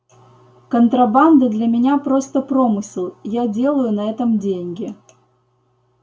контрабанда для меня просто промысел я делаю на этом деньги